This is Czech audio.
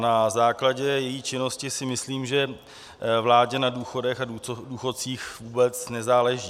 Na základě její činnosti si myslím, že vládě na důchodech a důchodcích vůbec nezáleží.